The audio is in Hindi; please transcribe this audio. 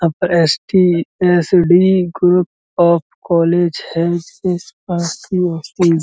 up STSD group of college है --